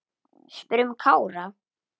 Spyrjum Kára.